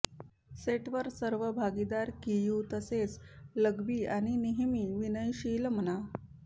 सेटवर सर्व भागीदार की ह्यू तसेच लकबी आणि नेहमी विनयशील म्हणा